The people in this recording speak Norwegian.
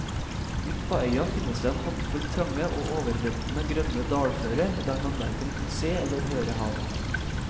Midt på øya finnes en håndfull trange og overveldende grønne dalfører der man hverken kan se eller høre havet.